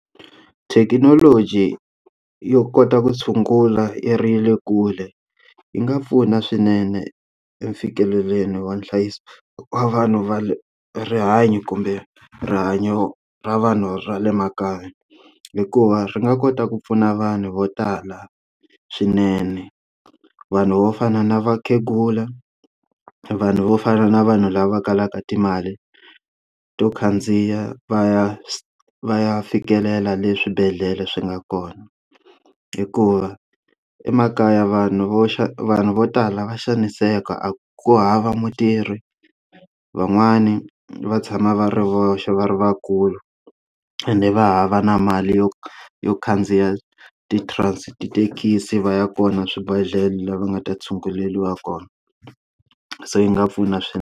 Thekinoloji yo kota ku tshungula ya ri ya le kule yi nga pfuna swinene eku fikeleleni wa nhlayiso wa vanhu va le rihanyo kumbe rihanyo ra vanhu ra le makaya hikuva ri nga kota ku pfuna vanhu vo tala swinene vanhu vo fana na vakhegula, vanhu vo fana na vanhu lava kalaka timali to khandziya va ya va ya fikelela le swibedhlele swi nga kona hikuva emakaya vanhu vo xa vanhu vo tala kha va xaniseka a ku hava mutirhi van'wani va tshama va ri voxe va ri vakulu ni va hava na mali yo yo khandziya ti trans se tithekisi va ya kona swibedhlele lava nga ta tshunguleriwa kona se yi nga pfuna swinene.